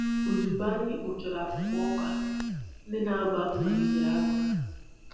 Ozugbo anyị kpochara akpụkpọ ọka, ndị na-abụ abụ malitere abụ ha.